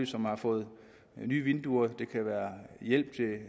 som har fået nye vinduer det kan også være hjælp til